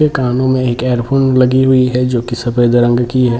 कानों में एक हैडफ़ोन लगी हुई है जो की सफेद रंग की है।